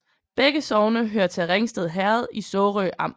Begge sogne hørte til Ringsted Herred i Sorø Amt